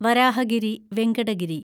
Varahagiri Venkata Giri